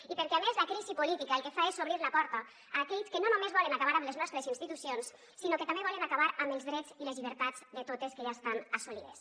i perquè a més la crisi política el que fa és obrir la porta a aquells que no només volen acabar amb les nostres institucions sinó que també volen acabar amb els drets i les llibertats de totes que ja estan assolides